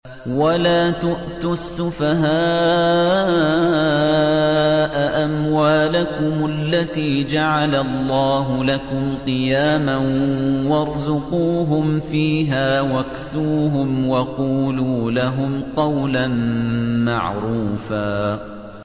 وَلَا تُؤْتُوا السُّفَهَاءَ أَمْوَالَكُمُ الَّتِي جَعَلَ اللَّهُ لَكُمْ قِيَامًا وَارْزُقُوهُمْ فِيهَا وَاكْسُوهُمْ وَقُولُوا لَهُمْ قَوْلًا مَّعْرُوفًا